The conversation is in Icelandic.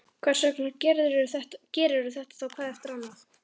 Hversvegna gerirðu þetta þá hvað eftir annað?